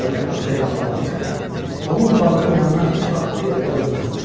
Balaca Hansa elə bağlanmışdı ki, onun bağının yanından heç vaxt elə-belə ötməzdi.